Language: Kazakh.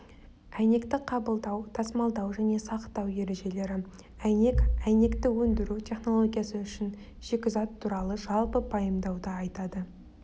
әйнекті қабылдау тасымалдау және сақтау ережелері әйнек әйнекті өндіру технологиясы үшін шикізат туралы жалпы пайымдауды айтады